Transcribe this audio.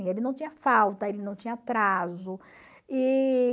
Ele não tinha falta, ele não tinha atraso. E...